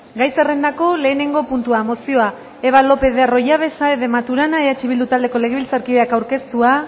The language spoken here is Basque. gai zerrendako lehenengo puntua mozioa eva lopez de arroyabe saez de maturana eh bildu taldeko legebiltzarkideak aurkeztua